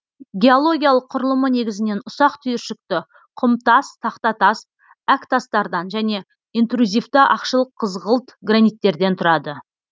геологиялық құрылымы негізінен ұсақ түйіршікті құмтас тақтатас әктастардан және интрузивті ақшыл қызғылт граниттерден тұрады